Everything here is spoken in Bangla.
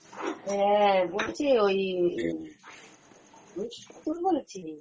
হ্যাঁ, বলছি ওই আমি পুতুল বলছি